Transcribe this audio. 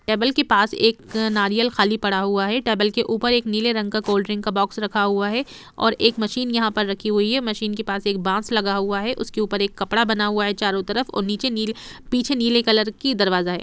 Table के पास एक नारियल खाली पड़ा हुआ है टेबल के उपर एक नीले रंग का कोल्ड ड्रिंक का बॉक्स रखा हुआ है और एक मशीन यहां पर रखी हुई है मशीन के पास एक बॉक्स लगा हुआ है उसके ऊपर एक कपड़ा बना हुआ है चारों तरफ और नीचे नील पीछे नीले कलर की दरवाजा है।